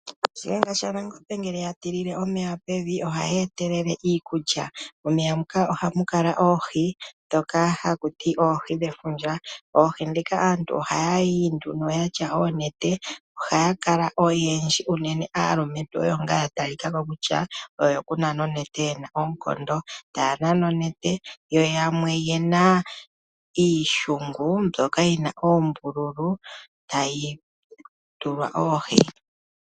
Shihenga shaNangombe ngele ya tilile omeya pevi oha yi eta iikulya. Momeya muka oha mu kala oohi dhoka ha kuti oohi dhevundja. Oohi dhika aantu oha ya yi nduno yatya oonete, oha ya kala oyendji uunene aalumentu oyo ngaa ya talika ko kutya oyo ku nana onete yena oonkondo. Taa nana onete yo yamwe ye na iishongu mbyoka yi na oombululu tayi tulwa oohi.